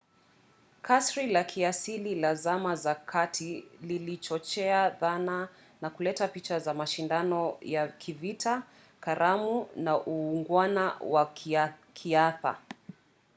kasri la kiasili la zama za kati lilichochea dhana na kuleta picha za mashindano ya kivita karamu na uungwana wa kiartha